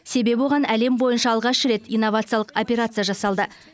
себебі оған әлем бойынша алғаш рет инновациялық операция жасалды